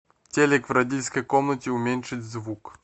телик в родительской комнате уменьшить звук